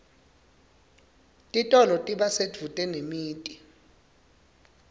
titolo tiba sedvute nemiti